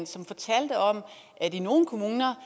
som fortalte om at i nogle kommuner